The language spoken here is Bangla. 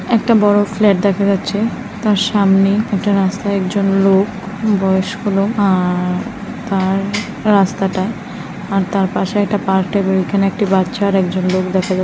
একটা বড়ো ফ্ল্যাট দেখা যাচ্ছে। তার সামনে একটা রাস্তা একজন লোক বয়স্ক লোক আ-আ তার রাস্তাটা । আর তার পাশে একটা পার্ক টাইপ -এর ওখানে একটি বাচ্চা আর একজন লোক দেখা যা --